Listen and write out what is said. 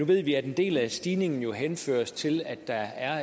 ved vi at en del af stigningen henføres til at der